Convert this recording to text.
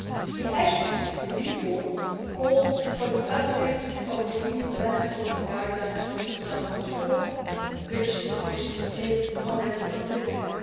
The Assis report calls for the updating of the EU land policy guidelines from 2004, which the Commission is already considering.